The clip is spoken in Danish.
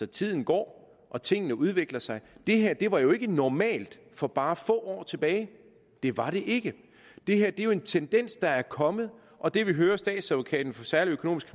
tiden går og tingene udvikler sig det her var jo ikke normalt for bare få år tilbage det var det ikke det her er jo en tendens der er kommet og det vi hører statsadvokaten for særlig økonomisk